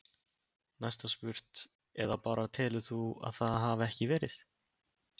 Næst var spurt: Eða bara telur þú að það hafi ekki verið?